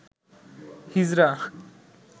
হিজরা